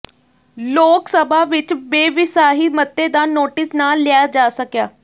ਲੋਕ ਸਭਾ ਵਿੱਚ ਬੇਵਿਸਾਹੀ ਮਤੇ ਦਾ ਨੋਟਿਸ ਨਾ ਲਿਆ ਜਾ ਸਕਿਆ